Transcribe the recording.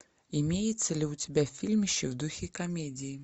имеется ли у тебя фильмище в духе комедии